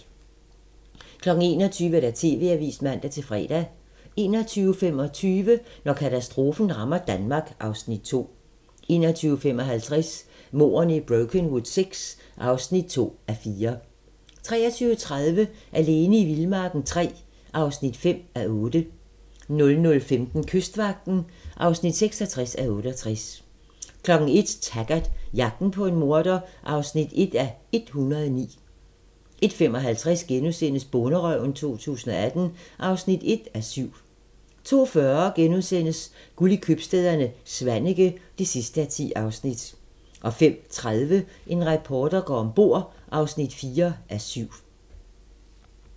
21:00: TV-avisen (man-fre) 21:25: Når katastrofen rammer Danmark (Afs. 2) 21:55: Mordene i Brokenwood VI (2:4) 23:30: Alene i vildmarken III (5:8) 00:15: Kystvagten (66:68) 01:00: Taggart: Jagten på en morder (1:109) 01:55: Bonderøven 2018 (1:7)* 02:40: Guld i købstæderne - Svaneke (10:10)* 05:30: En reporter går om bord (4:7)